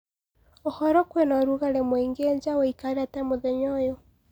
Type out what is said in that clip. ũhoro kwĩnaũrũgarĩ mũingi nja ũĩkaire atĩa mũthenya uyu